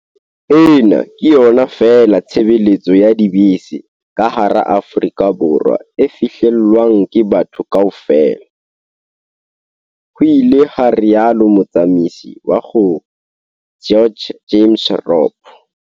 "Ena ke yona feela tshebeletso ya dibese ka hara Aforika Borwa e fihlellwang ke batho kaofela," ho ile ha rialo motsamisi wa GO GEORGE James Robb.